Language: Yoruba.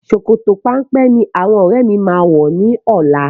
Sòkòtò péńpé ní àwọn ọ́rẹ́ mi máa wọ̀ ní ọlá.